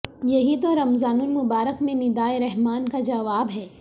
یہی تو رمضان المبارک میں ندائے رحمان کا جواب ہے